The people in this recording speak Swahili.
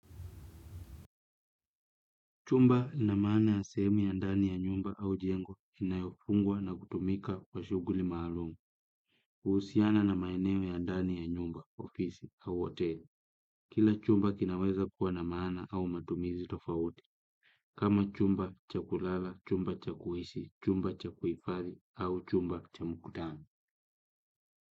Chumba ina maana ya sehemu ya ndani ya nyumba au jengo inayofungwa na kutumika kwa shughuli maalumu, huhusiana na maeneo ya ndani ya nyumba, ofisi, au hoteli. Kila chumba kinaweza kuwa na maana au matumizi tofauti kama chumba cha kulala, chumba cha kuishi, chumba cha kuhifadhi au chumba cha mkutano.